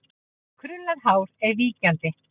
Krullað hár er víkjandi.